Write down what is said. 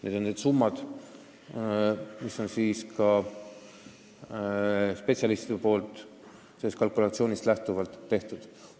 Need on summad, mis spetsialistid on välja käinud.